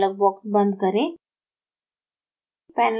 dialog box बंद करें